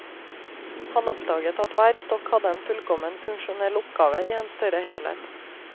Han oppdaget at hver stokk hadde en fullkommen funksjonell oppgave i en større helhet.